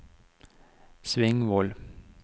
Svingvoll